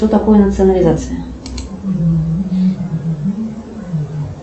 что такое национализация